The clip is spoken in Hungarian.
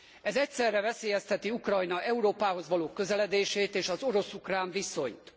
Ez egyszerre veszélyezteti Ukrajna Európához való közeledését és az orosz ukrán viszonyt.